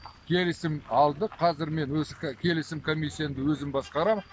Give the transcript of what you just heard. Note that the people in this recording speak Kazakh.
келісім алдық қазір мен келісім комиссиямды өзім басқарам